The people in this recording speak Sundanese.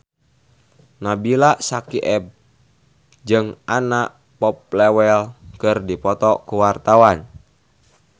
Nabila Syakieb jeung Anna Popplewell keur dipoto ku wartawan